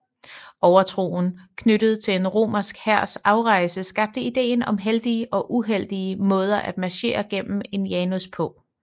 Overtroen knyttet til en romersk hærs afrejse skabte idéen om heldige og uheldige måder at marchere gennem en janus på